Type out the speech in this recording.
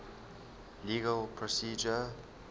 legal procedure